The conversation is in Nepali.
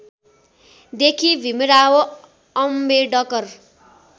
देखि भीमराव अम्बेडकर